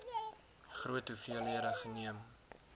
groot hoeveelhede geneem